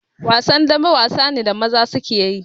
Wasan dambe wasa ne da maza suke yi